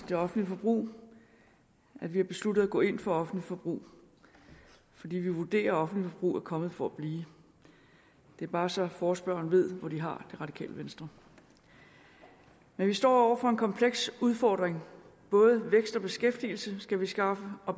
det offentlige forbrug vi har besluttet at gå ind for offentligt forbrug fordi vi vurderer at offentligt forbrug er kommet for at blive det er bare så forespørgerne ved hvor de har det radikale venstre vi står over for en kompleks udfordring både vækst og beskæftigelse skal vi skaffe og